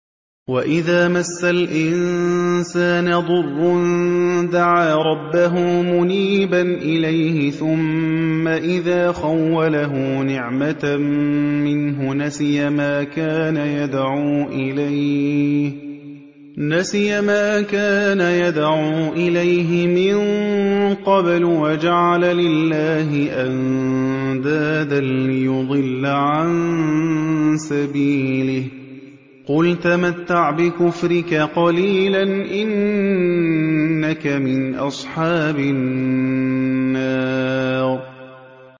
۞ وَإِذَا مَسَّ الْإِنسَانَ ضُرٌّ دَعَا رَبَّهُ مُنِيبًا إِلَيْهِ ثُمَّ إِذَا خَوَّلَهُ نِعْمَةً مِّنْهُ نَسِيَ مَا كَانَ يَدْعُو إِلَيْهِ مِن قَبْلُ وَجَعَلَ لِلَّهِ أَندَادًا لِّيُضِلَّ عَن سَبِيلِهِ ۚ قُلْ تَمَتَّعْ بِكُفْرِكَ قَلِيلًا ۖ إِنَّكَ مِنْ أَصْحَابِ النَّارِ